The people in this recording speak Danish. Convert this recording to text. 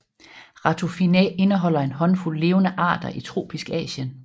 Ratufinae indeholder en håndfuld levende arter i tropisk Asien